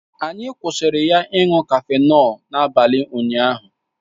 Anyị kwụsịrị ya ịṅụ cafenọlu n'abalị ụnyaahụ